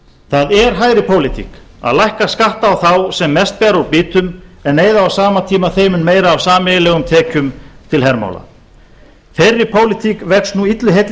það er hægri pólitík að lækka skatta á þá sem mest bera út býtum en eyða á sama tíma þeim mun meira af sameiginlegum tekjum til hermála þeirri pólitík vex nú illu heilli